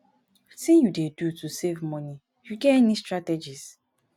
wetin you dey do to save money you get any strategies